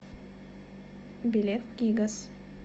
билет гигаз